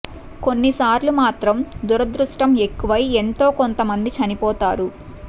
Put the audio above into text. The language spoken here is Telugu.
కొన్ని సార్లు మాత్రం దురదృష్టం ఎక్కువై ఎంతో కొంత మంది చనిపోతారు